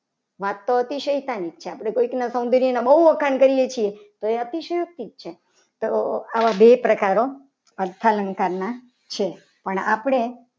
વાત તો અતિશયતાની છે. આપણે કોઈકના અમુક વાર બહુ વખાણ કરીએ છીએ તો એ અતિશયોક્તિ જ છે. તો આ બે પ્રકાર હો અડધા અલંકારના છે. પણ આપણે